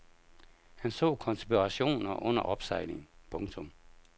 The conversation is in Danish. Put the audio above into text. Han så konspirationer under opsejling. punktum